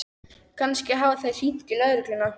Kannski hafa þeir hringt í lögregluna.